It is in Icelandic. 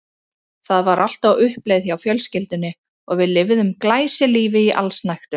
Það var allt á uppleið hjá fjölskyldunni og við lifðum glæsilífi í allsnægtum.